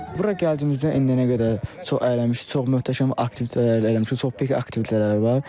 Bura gəldiyimizdən indiyənə qədər çox əylənmişik, çox möhtəşəm aktivitetlər eləmişik, çox böyük aktivitetlər var.